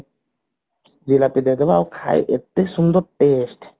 ଜିଲାପି ଦେଇଦେବ ଆଉ ଖାଇ ଏତେ ସୁନ୍ଦର test